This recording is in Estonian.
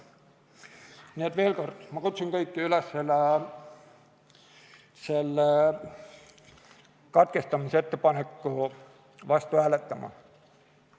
Nii et veel kord, ma kutsun kõiki üles selle katkestamisettepaneku vastu hääletama.